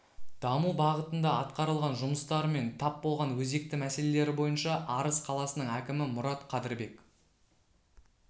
даму бағытында атқарылған жұмыстары мен тап болған өзекті мәселелері бойынша арыс қаласының әкімі мұрат қадырбек